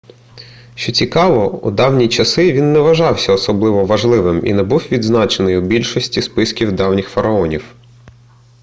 що цікаво у давні часи він не вважався особливо важливим і не був відзначений у більшості списків давніх фараонів